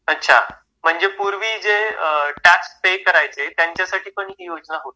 अच्छा म्हणजे पूर्वी जे टॅक्स पे करायचे त्यांच्यासाठी पण ही योजना होती?